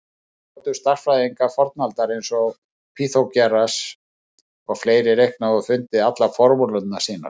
Hvernig gátu stærðfræðingar fornaldar eins og Pýþagóras og fleiri reiknað og fundið allar formúlurnar sínar?